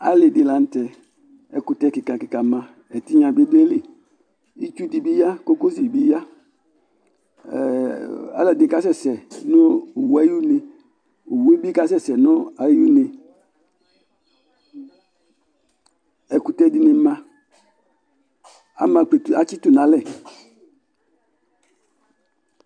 Alɩ dɩ lanʊtɛ Ɛkʊtɛ kɩka kɩka ma, ɛtɩɣna bi dʊ aƴɩlɩ' Itsʊ dɩbɩ ya, kokosɩ bɩ ya Alʊɛdɩnɩ kasɛsɛ nʊ owʊ ayʊne, owʊe bi kasɛsɛ nayʊne Ɛkʊtɛ dɩnɩ ma atsɩtʊ nalɛ